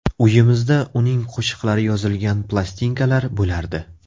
Uyimizda uning qo‘shiqlari yozilgan plastinkalar bo‘lardi.